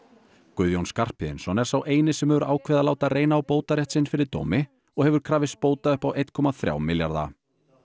Guðjón Skarphéðinsson er sá eini sem hefur ákveðið að láta reyna á bótarétt sinn fyrir dómi og hefur krafist bóta upp á einn komma þrjá milljarða